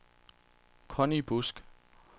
Conny Busk